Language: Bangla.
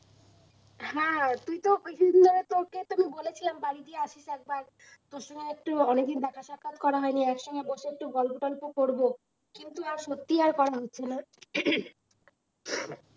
হ্যাঁ তুইতো কিছুদিন আগে তোকে তো বলেছিলাম বাড়ি গিয়ে আসিস একবার তোর সঙ্গে একটা অনেক দিন দেখা সাক্ষাত করা হয়নি একসঙ্গে বসে একটু গল্প টল্প করবো, কিন্তু আর সত্যি আর করা হচ্ছে না